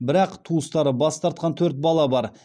бірақ туыстары бас тартқан төрт бала бар